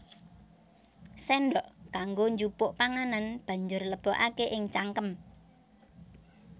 Séndhok kanggo njupuk panganan banjur lebokaké ing cangkem